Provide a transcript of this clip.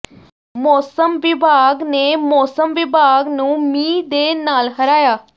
ਮੌਸਮ ਵਿਭਾਗ ਨੇ ਮੌਸਮ ਵਿਭਾਗ ਨੂੰ ਮੀਂਹ ਦੇ ਨਾਲ ਹਰਾਇਆ